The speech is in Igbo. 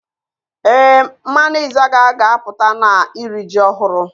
Ee, mmanwu Izaga ga-aputa na iri ji ohuru